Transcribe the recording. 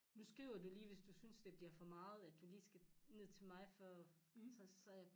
Nu skriver du lige hvis du synes det bliver for meget at du lige skal ned til mig for så sagde jeg